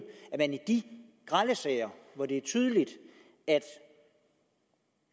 grelle sager hvor det er tydeligt at